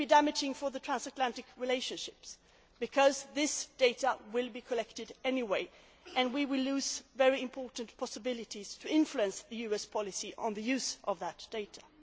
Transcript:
be? It would be damaging for the transatlantic relationship because this data will be collected anyway and we would lose a very important chance to influence US policy on the use of that